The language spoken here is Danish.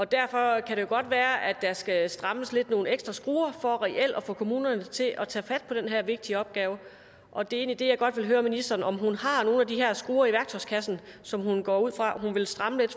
derfor kan det jo godt være at der skal strammes lidt på nogle ekstra skruer for reelt at få kommunerne til at tage fat på den her vigtige opgave og det er egentlig det jeg godt vil høre ministeren om hun har nogle af de her skruer i værktøjskassen som hun går ud fra at hun vil stramme lidt